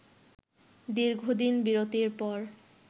দীর্ঘদিন বিরতির পর